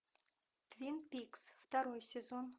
твин пикс второй сезон